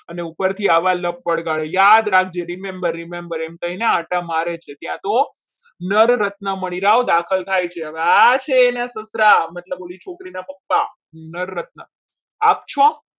અને ઉપરથી આવા લક વળગાળી યાદ રાખજે remember remember એમ કહીને આંટા મારે છે ત્યાં તો નર રત્ન મળી રાવ દાખલ થાય છે હવે આ છે એના સસરા મતલબ જે છોકરી ના પપ્પા નર રત્ન આપશો.